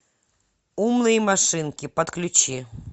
умные машинки подключи